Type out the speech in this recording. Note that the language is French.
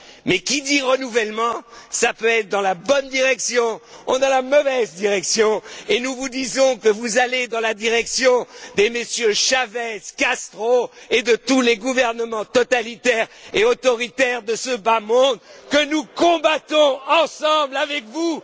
Mais quand on dit renouvellement, cela peut aller dans la bonne direction ou dans la mauvaise direction, et nous vous disons que vous allez dans la direction des Chavez, Castro, et de tous les gouvernements totalitaires et autoritaires de ce bas monde, que nous combattons ensemble, avec vous